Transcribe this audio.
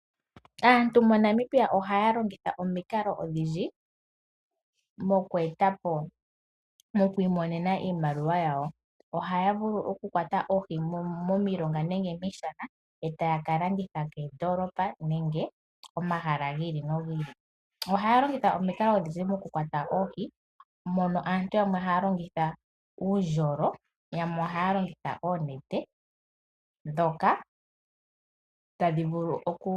Aantu moNamibia ohaya longitha omikalo odhindji moku imonena iimaliwa. Ohaya vulu okukwata oohi momilonga nomiishana e taya ka landitha koondoolopa nenge komahala gi ili nogi ili. Ohaya longitha omikalo odhindji okukwata oohi, mono aantu yamwe haya longitha uundjolo, yamwe ohaya longitha oonete.